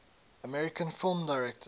american film directors